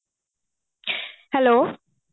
hello